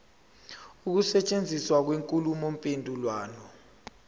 ukusetshenziswa kwenkulumo mpendulwano